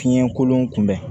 Fiɲɛkolon kun bɛ